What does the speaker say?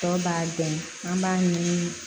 Tɔ b'a gɛn an b'a ɲini